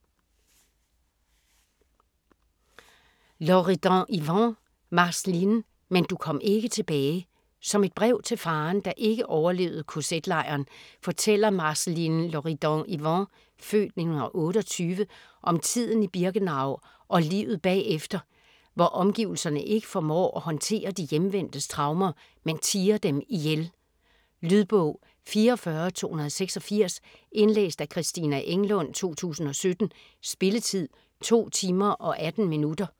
Loridan-Ivens, Marceline: Men du kom ikke tilbage Som et brev til faderen, der ikke overlevede kz-lejren, fortæller Marceline Loridan-Ivens (f. 1928) om tiden i Birkenau og livet bagefter, hvor omgivelserne ikke formår at håndtere de hjemvendtes traumer, men tier dem ihjel. Lydbog 44286 Indlæst af Christina Englund, 2017. Spilletid: 2 timer, 18 minutter.